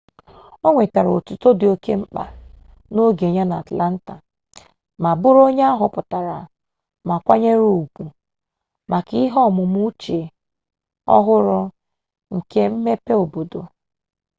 o nwetara otuto dị oke mkpa n'oge ya n'atlanta ma bụrụ onye a họpụtara ma kwanyere ugwu maka ihe ọmụmụ uche-ọhụrụ nke mmepe obodo